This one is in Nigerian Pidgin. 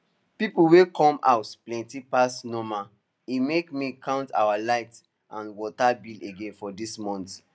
people wey come house plenty pass normal e make me count our light and water bill again for dis month